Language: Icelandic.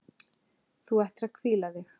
Þú ættir að hvíla þig.